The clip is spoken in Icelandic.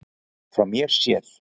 Frá mér séð.